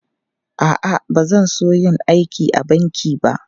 A'a, ba zan so yin aiki a banki ba.